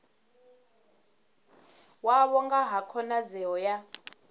wavho nga ha khonadzeo ya